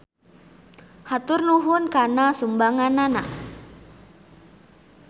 Hatur nuhun kana sumbanganana.